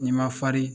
N'i ma farin